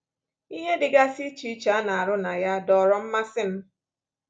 Ihe dịgasị iche iche a na-arụ na ya dọọrọ mmasị m.